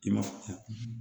I ma faamuya